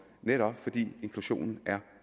netop fordi inklusionen er